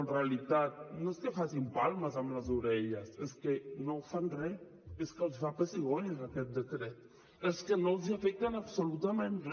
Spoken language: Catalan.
en realitat no és que facin palmes amb les orelles és que no fan re és que els fa pessigolles aquest decret és que no els afecta en absolutament re